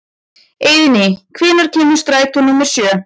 Eiðný, hvenær kemur strætó númer sjö?